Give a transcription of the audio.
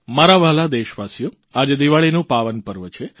મારા વ્હાલા દેશવાસીઓ આજે દીવાળીનું પાવનપર્વ છે